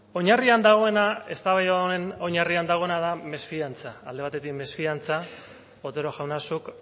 oinarrian dagoena eztabaida honen oinarrian dagoena da mesfidantza alde batetik mesfidantza otero jauna zuk